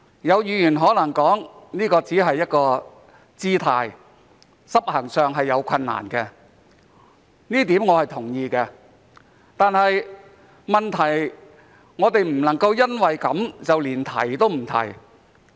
有議員可能說這只是一個姿態，執行上會有困難，這一點我是同意的，但問題是我們不能夠因為這樣便提也不提。